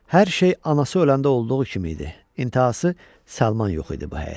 Hər şey anası öləndə olduğu kimi idi, intəhası, Salman yox idi bu həyətdə.